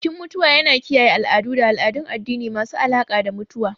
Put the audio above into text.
Bikin mutuwa yana kiyaye al'adu da al'adun addini masu alaƙa da mutuwa.